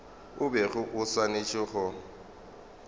o bego o swanetše go